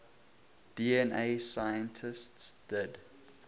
dna scientists did